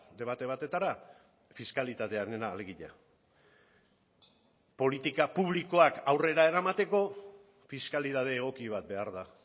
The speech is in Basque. debate batetara fiskalitatearena alegia politika publikoak aurrera eramateko fiskalitate egoki bat behar da